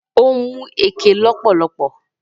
Ó mu ẹkẹ lọ́pọ̀lọpọ̀.